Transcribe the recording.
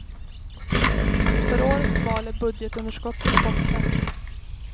Inför årets val är budgetunderskottet borta.